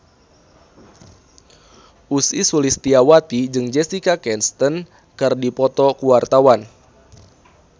Ussy Sulistyawati jeung Jessica Chastain keur dipoto ku wartawan